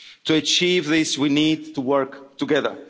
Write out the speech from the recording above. soon as possible. To achieve this we need